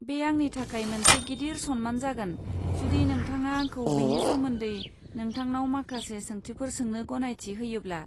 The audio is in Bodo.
बे आंनि थाखाय मोनसे गिदिर सनमान जागोन जुदि नोंथाङा आंखौ बेनि सोमोन्दै नोंथांनाव माखासे सोंथिफोर सोंनो गनायथि होयोब्ला।